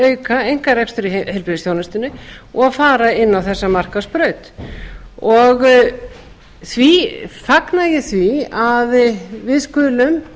auka einkarekstur í heilbrigðisþjónustunni og fara inn á þessa markaðsbraut því fagna ég því að við skulum